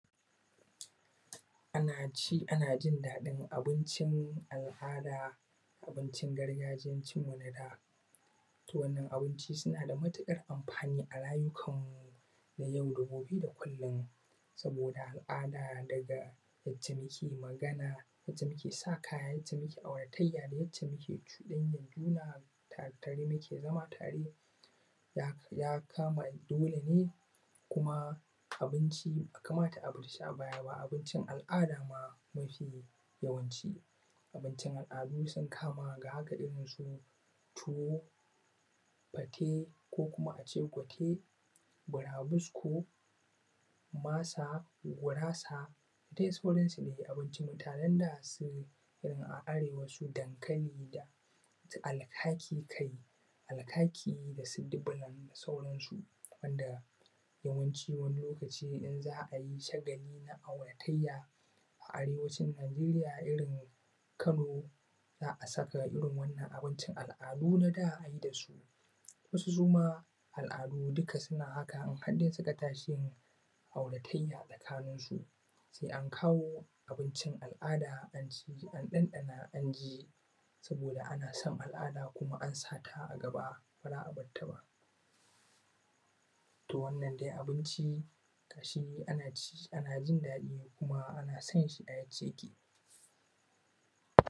Ana ci ana jin daɗin abincin al'ada, abincin gargajiyan cin wani da. Wannan abinci suna da matukar amfani a rayukanmu na yau da gobe da kullum saboda al'ada da daga yacce muke magana ya ce muke sa kaya da yacce muke auratayya da yacce muke cudanyar juna tare muke zama tare da ya kama dole ne kuma abincin bai kamata a bar shi a baya ba abincin al'ada mafi yawanci. Abincin al'adu sun kama ga haka kamar irinsu tuwo, fate ko kuma a ce gote, burabusko, masa, gurasa da dai sauransu. Abincin mutanen da a Arewa su dankali da su alkaki kai alkaki da su dublan da sauransu. Wanda yawancin wani lokaci in za a yi shagali a ko auratayya a Arewacin Najiriya irin kano za a saka irin waɗannan abinci al'adu na da a yi da su. Wasu suma al'adun suna haka in har suka ta shi auratayya a tsakaninsu sai an kawo an abincin al'ada anci an ɗanɗana an ji, saboda ana son al'ada kuma an sa ta a gaba ba ra a bar ta ba. To, wannan dai abinci ga shi ana ci ana jin daɗi kuma ana son shi a yacce yake.